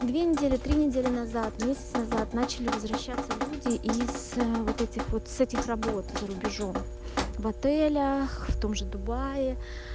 две недели три недели назад месяц назад начали возвращаться люди из вот этих вот с этих работа за рубежом в отелях в том же дубае